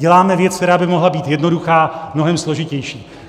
Děláme věc, která by mohla být jednoduchá, mnohem složitější.